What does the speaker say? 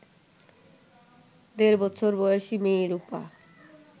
দেড়বছর বয়সী মেয়ে রুপা